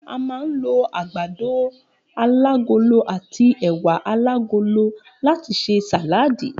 A máa ń lo àgbàdo alágolo àti è̩wà alágolo láti s̩e sàláàdì